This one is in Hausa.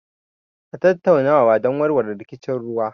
A tattaunawa don warware rikicin ruwa.